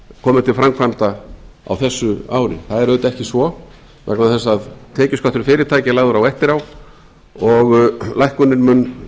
komi til framkvæmda á þessu ári það er auðvitað ekki svo vegna þess að tekjuskattur fyrirtækja er lagður á eftir á og lækkunin mun